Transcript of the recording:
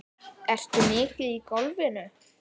Ertu mikið í golfinu?